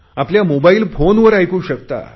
आपल्या मोबाईल फोनवर ऐकू शकता